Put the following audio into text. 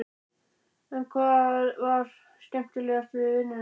En hvað var það skemmtilegasta við vinnuna?